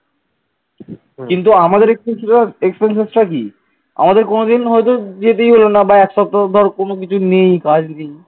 আমাদের কোনদিন হয়তো যেতেই হলো না বা এক সপ্তাহ ধর কোন কিছু নেই কাজ।